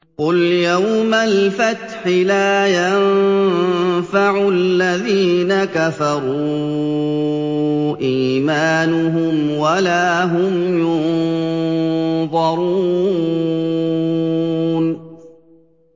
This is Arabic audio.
قُلْ يَوْمَ الْفَتْحِ لَا يَنفَعُ الَّذِينَ كَفَرُوا إِيمَانُهُمْ وَلَا هُمْ يُنظَرُونَ